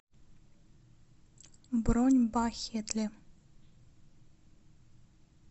бронь бахетле